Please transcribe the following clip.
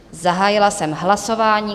Zahájila jsem hlasování.